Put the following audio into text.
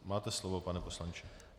Máte slovo, pane poslanče.